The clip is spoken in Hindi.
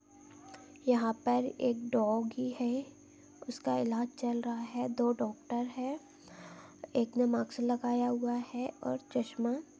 यहाँ पर एक डोगी है उसका इलाज चल रहा है दो डॉक्टर है एक ने मास्क लगाया हुआ है और चसमा--